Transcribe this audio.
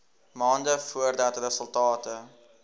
maande voordat resultate